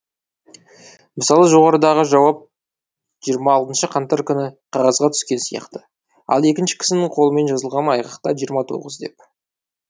мысалы жоғарыдағы жауап жиырма алтыншы қаңтар күні қағазға түскен сияқты ал екінші кісінің қолымен жазылған айғақта жиырма тоғыз деп